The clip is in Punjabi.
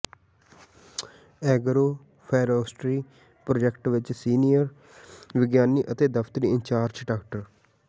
ਐਗਰੋ ਫੋਰੈਸਟਰੀ ਪ੍ਰਾਜੈਕਟ ਵਿੱਚ ਸੀਨੀਅਰ ਵਿਗਿਆਨੀ ਅਤੇ ਦਫ਼ਤਰੀ ਇੰਚਾਰਜ ਡਾ